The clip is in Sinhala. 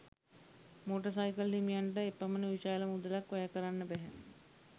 මෝටර් සයිකල් හිමියන්ට එපමණ විශාල මුදලක් වැය කරන්න බැහැ.